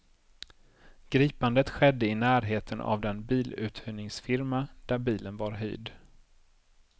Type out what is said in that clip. Gripandet skedde i närheten av den biluthyrningsfirma, där bilen var hyrd.